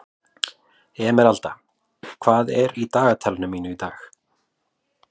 Emeralda, hvað er í dagatalinu mínu í dag?